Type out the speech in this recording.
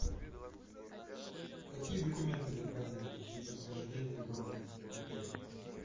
какие документы необходимы при подтверждении брони в отеле